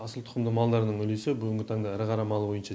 асыл тұқымды малдардың үлесі бүгінгі таңда ірі қара мал бойынша